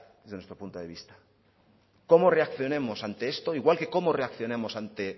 desde nuestro punto de vista cómo reaccionemos ante esto igual que cómo reaccionamos ante